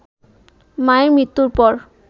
মায়ের মৃত্যুর পর